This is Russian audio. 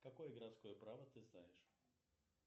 какое городское право ты знаешь